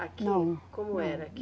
Aqui. Não. Como era aqui?